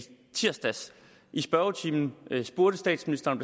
tirsdags i spørgetimen spurgte statsministeren